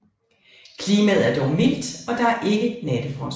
Klimaet er dog mildt og der er ikke nattefrost